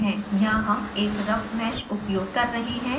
यहाँ हम एक रफ़ मैश उपयोग कर रही हूँ